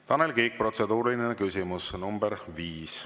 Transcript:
Tanel Kiik, protseduuriline küsimus nr 5.